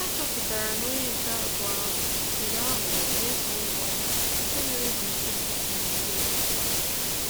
Ha chọpụtara na onye nke abụọ ahụ jiri aghụghọ mee ka ọ nwụọla nke mere e jiri kwụsị iti ya ihe